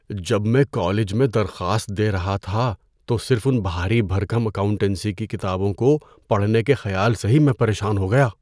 جب میں کالج میں درخواست دے رہا تھا تو صرف ان بھاری بھرکم اکاؤنٹنسی کی کتابوں کو پڑھنے کے خیال سے ہی میں پریشان ہو گیا۔